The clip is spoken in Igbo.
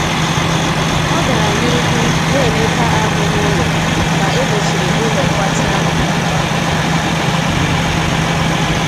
Ọ gara n'ihu na-emega ahụ n'ụlọ ka emechiri ụlọ mgbatị ahụ kpamkpam.